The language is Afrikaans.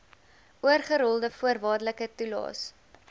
oorgerolde voorwaardelike toelaes